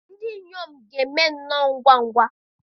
ndị inyom ga-eme nnọọ ngwa ngwa